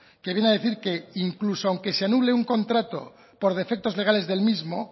que viene a decir que incluso aunque se anule un contrato por defectos legales del mismo